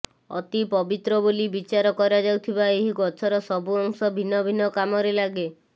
ଅତି ପବିତ୍ର ବୋଲି ବିଚାର କରାଯାଉଥିବା ଏହି ଗଛର ସବୁ ଅଂଶ ଭିନ୍ନ ଭିନ୍ନ କାମରେ ଲାଗେ